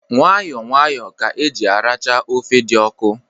Nwayọ nwayọ ka eji aracha ofe dị ọkụ.